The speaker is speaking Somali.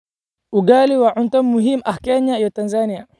Ugali waa cunto muhiim ah Kenya iyo Tanzania.